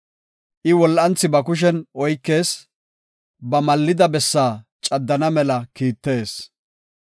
I wol7anthi ba kushen oykees; ba mallida bessaa caddana mela kiittees.